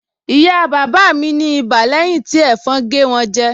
Ìyá bàbá mi ní ibà lẹ́yìn tí ẹ̀fọn gé wọn jẹ